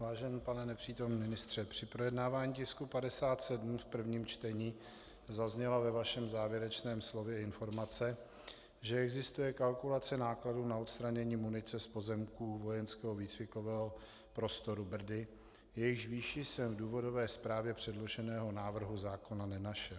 Vážený pane nepřítomný ministře, při projednávání tisku 57 v prvním čtení zazněla ve vašem závěrečném slově informace, že existuje kalkulace nákladů na odstranění munice z pozemků vojenského výcvikového prostoru Brdy, jejichž výši jsem v důvodové zprávě předloženého návrhu zákona nenašel.